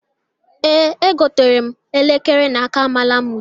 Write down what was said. Ee, egotere m elekere n'aka Malamud